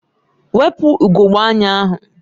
Wepu ugogbe anya ahụ!